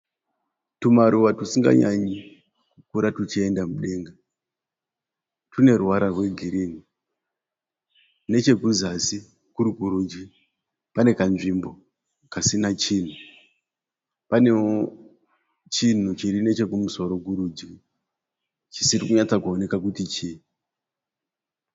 Tumaruva tusinganyanyi kukura tuchienda mudenga tune ruvara rwe girinhi. Nechekuzasi kuri kurudyi pane kanzvimbo kasina chinhu. Panewo chinhu chiri neche kumusoro kurudyi chisiri kunyatsa kuoneka kuti chii.